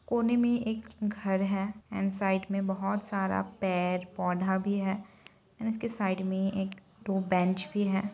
कोने मे एक घर है एण्ड साइड में बहुत सारा पेड़-पौधा भी है एण्ड उसके साइड मे एक दो बेंच भी है।